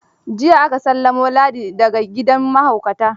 Jiya aka sallamo Ladi da ga gidan mahaukata.